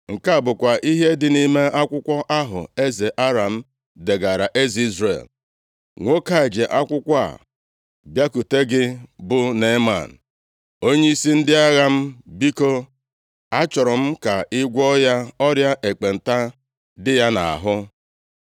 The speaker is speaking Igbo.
Nke a bụkwa ihe dị nʼime akwụkwọ ahụ eze Aram degaara eze Izrel: “Nwoke a ji akwụkwọ a bịakwute gị bụ Neeman, onyeisi ndị agha m. Biko, achọrọ m ka ị gwọọ ya ọrịa ekpenta dị ya nʼahụ.”